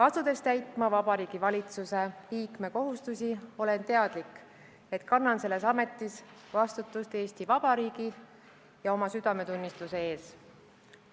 Asudes täitma Vabariigi Valitsuse liikme kohustusi, olen teadlik, et kannan selles ametis vastutust Eesti Vabariigi ja oma südametunnistuse ees.